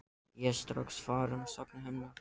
Ég er strax farinn að sakna hennar.